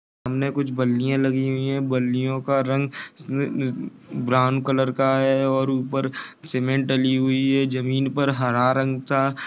सामने कुछ बलिया लगी है। ये बलियो का रंग ब्राउन कलर का है। और उपर सीमेंट डली हुई है। जमीन पर हरे रंग का--